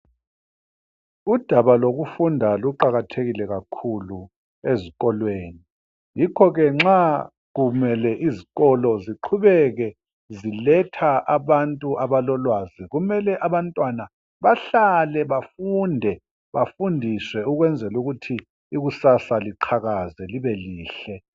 Udabalokufunda luqakathekile kakhulu ezikolweni yikho ke nxa kumele izikolo ziqhubeke ziletha abantu abalolwazi kumele abantwana bahlale bafunde bafundiswe ukwenzela ukuthi ikusasa liqakaze libe lihle.